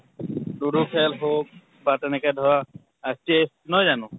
ludo খেল হওঁক বা তেনেকে ধৰা আহ chess নহয় জানো?